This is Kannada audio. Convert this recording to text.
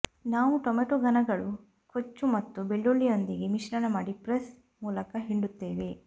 ನಾವು ಟೊಮಾಟೊ ಘನಗಳು ಕೊಚ್ಚು ಮತ್ತು ಬೆಳ್ಳುಳ್ಳಿಯೊಂದಿಗೆ ಮಿಶ್ರಣ ಮಾಡಿ ಪ್ರೆಸ್ ಮೂಲಕ ಹಿಂಡುತ್ತೇವೆ